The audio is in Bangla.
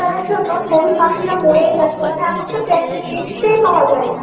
জন্য চড়ুই পাখিরা মরেই যাচ্ছে মানে এখন তো তেম~ দেখতেই পাওয়া যায়না।